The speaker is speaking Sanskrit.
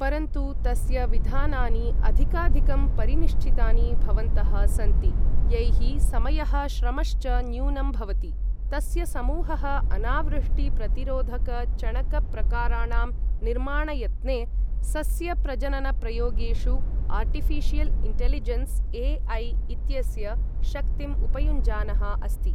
परन्तु तस्य विधानानि अधिकाधिकं परिनिश्चितानि भवन्तः सन्ति, यैः समयः श्रमश्च न्यूनं भवति। तस्य समूहः अनावृष्टि प्रतिरोधक चणकप्रकाराणां निर्माणयत्ने, सस्यप्रजननप्रयोगेषु आर्टिऴिशियल् इन्टेलिजेन्स् ए.ऐ इत्यस्य शक्तिं उपयुञ्जानः अस्ति।